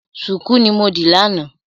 Ṣùkú ni mo dì lánàá.